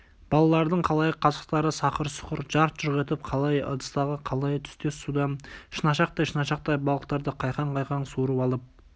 балалардың қалайы қасықтары сақыр-сұқыр жарқ-жұрқ етіп қалайы ыдыстағы қалайы түстес судан шынашақтай-шынашақтай балықтарды қайқаң-қайқаң суырып алып